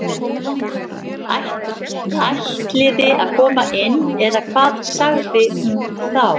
Ætliði að koma inn eða hvað sagði hún þá.